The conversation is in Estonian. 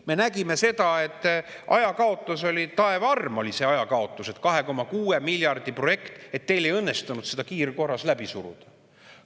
Me nägime seda, et ajakaotus oli taeva arm, 2,6 miljardi projekti teil ei õnnestunud kiirkorras läbi suruda.